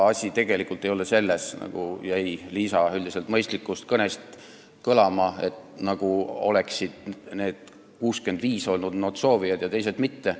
Asi ei ole tegelikult selles, nagu jäi Liisa üldiselt mõistlikust kõnest kõlama, justkui oleksid need 65 olnud soovijad ja teised mitte.